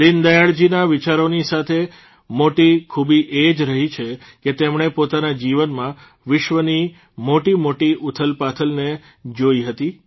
દીનદયાળજીના વિચારોની સૌથી મોટી ખૂબી એ જ રહી છે કે તેમણે પોતાના જીવનમાં વિશ્વની મોટીમોટી ઉથલપાથલને જોઇ હતી